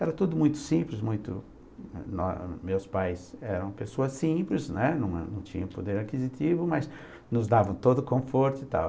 Era tudo muito simples, muito, nó, meus pais eram pessoas simples, né, não não tinham poder aquisitivo, mas nos davam todo o conforto e tal.